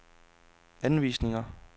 anvisninger